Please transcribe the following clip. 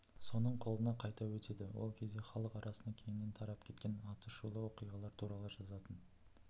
соның қолына қайта өтеді ол кезде халық арасында кеңінен тарап кеткен атышулы оқиғалар туралы жазатын